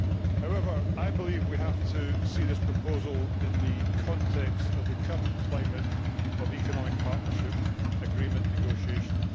However, I believe that we have to see this proposal in the context of the current climate of economic partnership agreement negotiations.